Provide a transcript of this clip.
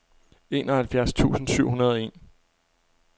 enoghalvfjerds tusind syv hundrede og en